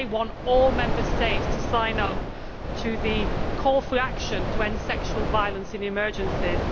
They want all Member States to sign up to the call for action to end sexual violence in emergencies.